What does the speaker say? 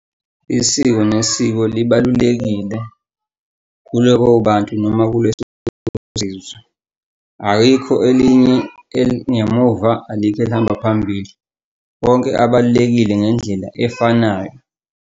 Isiko nesiko libalulekile kulabo bantu noma kuleso . Ayikho elinye elingemuva, alikho elihamba phambili, wonke abalulekile ngendlela efanayo.